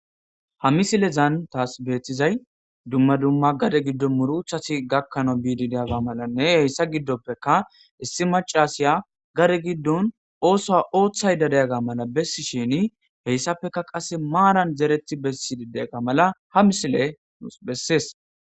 Ha misilezaan taas beettizay dumma dumma gade giddon muruchasi gakkanao biididiyaga malanne heyssa giddoppeka issi macasiya gare giddun oosoa ooththay dadeyaga mala bessi shini heyssapfeka qasse maaran dereti bessi dideyaga mala ha misile ns bessees